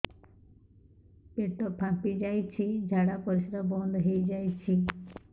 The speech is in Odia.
ପେଟ ଫାମ୍ପି ଯାଇଛି ଝାଡ଼ା ପରିସ୍ରା ବନ୍ଦ ହେଇଯାଇଛି